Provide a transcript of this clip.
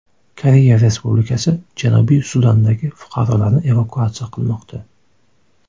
Koreya Respublikasi Janubiy Sudandagi fuqarolarini evakuatsiya qilmoqda.